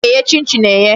A na-eye chin chin eye.